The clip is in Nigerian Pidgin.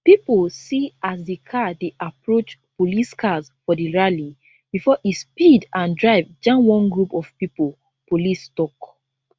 pipo see as di car dey approach police cars for di rally bifor e speed and drive jam one group of pipo police tok